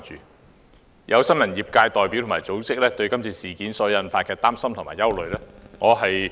我了解並關注新聞業界代表及組織對今次事件的擔心和憂慮。